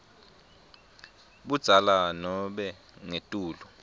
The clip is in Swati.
budzala nobe ngetulu